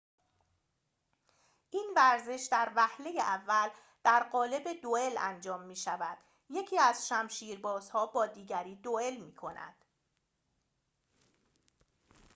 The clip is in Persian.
این ورزش در وهله اول در قالب دوئل انجام می‌شود یکی از شمشیربازها با دیگری دوئل می‌کند